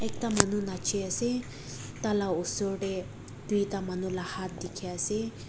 ekta manu nachi ase taila usor tey tuita manu la hat dekhe ase.